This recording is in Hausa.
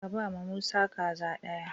Ka bama Musa kaza ɗaya!